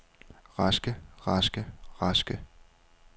raske raske raske